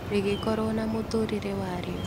Rĩgĩkorwo na mũtũrĩre warĩo.